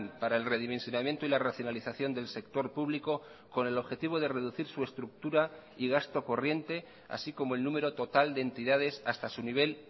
para el redimensionamiento y la racionalización del sector público con el objetivo de reducir su estructura y gasto corriente así como el número total de entidades hasta su nivel